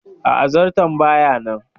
Aa, zarton baya nan